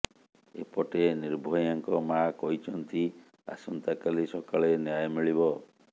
ଏପଟେ ନିର୍ଭୟାଙ୍କ ମାଆ କହିଛନ୍ତି ଆସନ୍ତାକାଲି ସକାଳେ ନ୍ୟାୟ ମିଳିବ